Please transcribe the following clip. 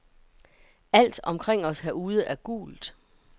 Alt omkring os herude er gult.